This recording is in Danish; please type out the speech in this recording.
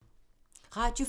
Radio 4